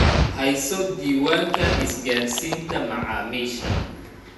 Hayso diiwaanka isgaarsiinta macaamiisha.